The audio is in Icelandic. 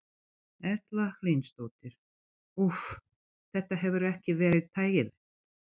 Erla Hlynsdóttir: Úff, þetta hefur ekki verið þægilegt?